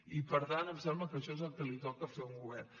i per tant em sembla que això és el que toca fer a un govern